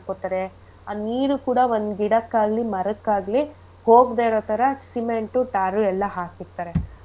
ಮಾಡ್ಕೊತಾರೆ ಆ ನೀರು ಕೂಡ ಒಂದ್ ಗಿಡಕ್ಕಾಗ್ಲಿ ಮರಕ್ಕಾಗ್ಲಿ ಹೋಗ್ದೆ ಇರೋ ತರ cement tar ಉ ಎಲ್ಲ ಹಾಕಿರ್ತಾರೆ.